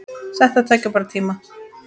Þetta tekur bara tíma.